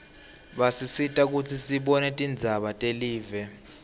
basisita kutsi sibone tindzaba telive